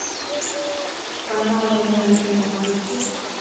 канал родное кино включи